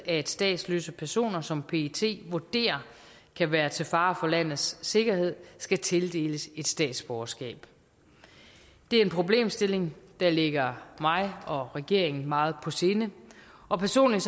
at statsløse personer som pet vurderer kan være til fare for landets sikkerhed skal tildeles et statsborgerskab det er en problemstilling der ligger mig og regeringen meget på sinde og personligt